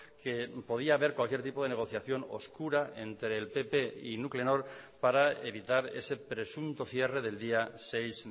que podía haber cualquier tipo de negociación oscura entre el pp y nuclenor para evitar ese presunto cierre del día seis